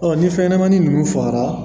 ni fɛnɲɛnɛmanin ninnu fagara